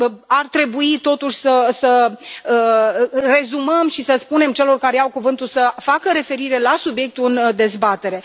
Ar trebui totuși să rezumăm și să spunem celor care iau cuvântul să facă referire la subiectul în dezbatere.